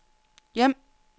hjem